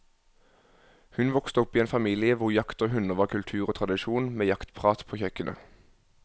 Hun vokste opp i en familie hvor jakt og hunder var kultur og tradisjon, med jaktprat på kjøkkenet.